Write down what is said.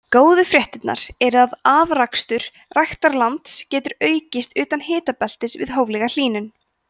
góðu fréttirnar eru að afrakstur ræktarlands getur aukist utan hitabeltis við hóflega hlýnun